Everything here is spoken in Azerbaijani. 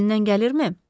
Əlindən gəlirmi?